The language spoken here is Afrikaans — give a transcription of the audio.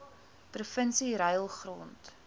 provinsie ruil grond